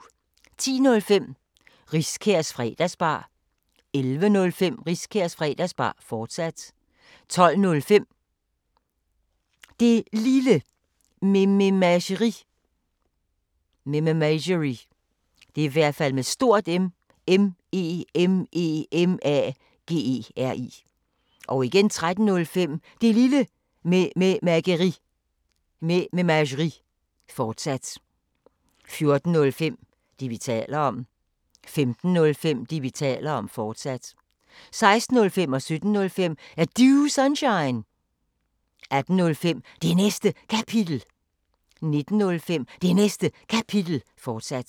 10:05: Riskærs Fredagsbar 11:05: Riskærs Fredagsbar, fortsat 12:05: Det Lille Mememageri 13:05: Det Lille Mememageri, fortsat 14:05: Det, vi taler om 15:05: Det, vi taler om, fortsat 16:05: Er Du Sunshine? 17:05: Er Du Sunshine? 18:05: Det Næste Kapitel 19:05: Det Næste Kapitel, fortsat